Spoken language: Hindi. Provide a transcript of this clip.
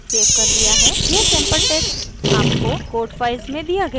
यह sample text आपको code files में दिया गया है